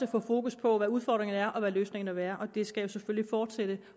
fokus på hvad udfordringerne er og hvad løsningerne vil være og det skal selvfølgelig fortsætte